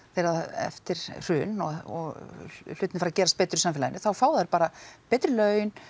eftir hrun og hlutirnir fara að gerast betur í samfélaginu þá fá þær bara betri laun